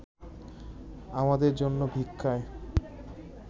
আমাদের জন্য ভিক্ষায়